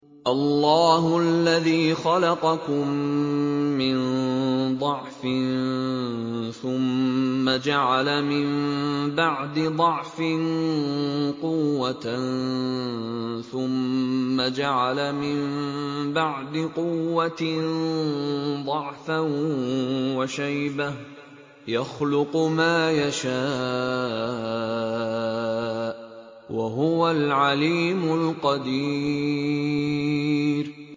۞ اللَّهُ الَّذِي خَلَقَكُم مِّن ضَعْفٍ ثُمَّ جَعَلَ مِن بَعْدِ ضَعْفٍ قُوَّةً ثُمَّ جَعَلَ مِن بَعْدِ قُوَّةٍ ضَعْفًا وَشَيْبَةً ۚ يَخْلُقُ مَا يَشَاءُ ۖ وَهُوَ الْعَلِيمُ الْقَدِيرُ